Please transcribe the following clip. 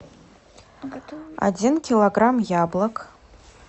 один килограмм яблок